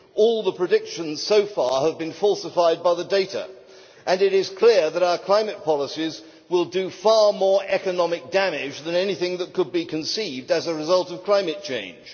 All the predictions so far have been falsified by the data, and it is clear that our climate policies will do far more economic damage than anything that could be conceived as a result of climate change.